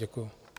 Děkuji.